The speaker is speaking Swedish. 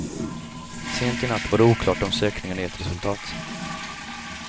Sent i natt var det oklart om sökningarna gett resultat.